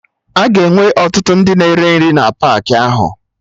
Aga enwe ọtụtụ ndị na-ere nri na paakị ahụ